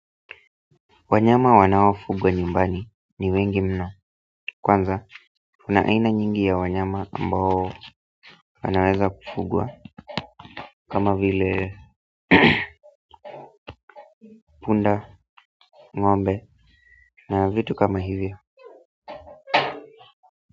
Wanyama wanaofugwa nyumbani ni wengi mno kwanza, kuna aina nyingi ya wanyama ambao wanaweza kufugwa kama vile punda, ng'ombe na vitu kama hivyo.